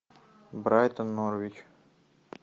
брайтон норвич